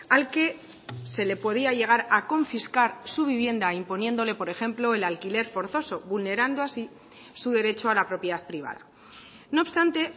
al que se le podía llegar a confiscar su vivienda imponiéndole por ejemplo el alquiler forzoso vulnerando así su derecho a la propiedad privada no obstante